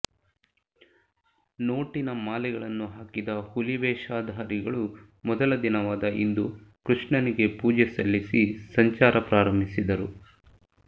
ನೋಟಿನ ಮಾಲೆಗಳನ್ನು ಹಾಕಿದ ಹುಲಿವೇಷಧಾರಿಗಳು ಮೊದಲ ದಿನವಾದ ಇಂದು ಕೃಷ್ಣನಿಗೆ ಪೂಜೆ ಸಲ್ಲಿಸಿ ಸಂಚಾರ ಪ್ರಾರಂಭಿಸಿದರು